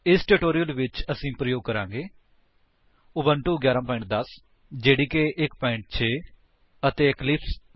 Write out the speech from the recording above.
ਇਸ ਟਿਊਟੋਰਿਅਲ ਲਈ ਅਸੀ ਪ੍ਰਯੋਗ ਕਰਾਂਗੇ ਉਬੁੰਟੂ 11 10 ਜੇਡੀਕੇ 1 6 ਅਤੇ ਇਕਲਿਪਸ 3 7 ਇਸ ਟਿਊਟੋਰਿਅਲ ਦੇ ਲਈ ਤੁਹਾਨੂੰ ਜਾਵਾ ਵਿੱਚ ਰੀਲੇਸ਼ਨਲ ਆਪਰੇਟਰਜ਼ ਦਾ ਗਿਆਨ ਹੋਣਾ ਚਾਹੀਦਾ ਹੈ